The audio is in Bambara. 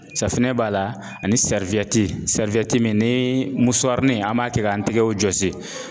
Safinɛ b'a la ani min ni musarin an b'a kɛ k'an tɛgɛw jɔsi